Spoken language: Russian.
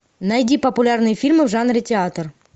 найди популярные фильмы в жанре театр